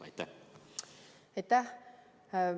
Aitäh!